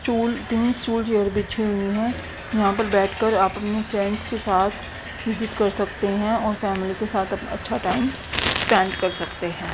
Stool बिछे हुए हैं यहां पर बैठकर अपने फ्रेंड्स के साथ विजिट कर सकते हैं और फैमिली के साथ अच्छा टाइम स्पेंड कर सकते हैं।